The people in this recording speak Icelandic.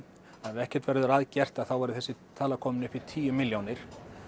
ef ekkert verður að gert að þá verði þessi tala komin upp í tíu milljónir